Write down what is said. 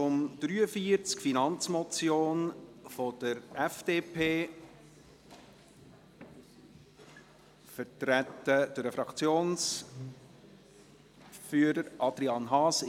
Wir kommen zum Traktandum 43: Finanzmotion der FDP, vertreten durch den Fraktionsführer Adrian Haas.